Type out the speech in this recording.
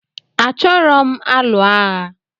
Achoro m alụ agha